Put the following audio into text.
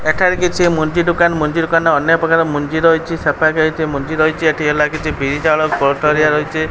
ଏଠାରେ କିଛି ମଞ୍ଜି ଦୋକାନ ମଞ୍ଜି ଦୋକାନ ରେ ଅନେକ ପ୍ରକାର ମଞ୍ଜି ରହିଚି ସେ ପାଖେ କିଛି ମଞ୍ଜି ରହିଛି ଏଠି ହେଲା କିଛି ବିରି ଚାଉଳ କୋଳଥ ହେରିକା ରହିଚି।